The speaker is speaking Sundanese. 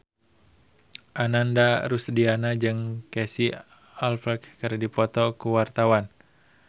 Ananda Rusdiana jeung Casey Affleck keur dipoto ku wartawan